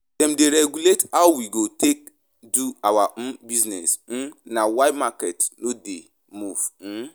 Dem dey regulate how we go take do our um business, um na why market no dey move. um